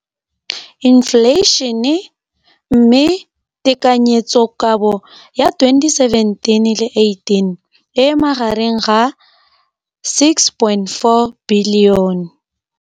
Infleišene, mme tekanyetsokabo ya 2017, 18, e magareng ga R6.4 bilione.